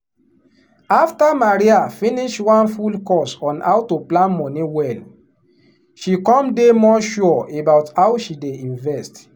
after maria finish one full course on how to plan money well she come dey more sure about how she dey invest.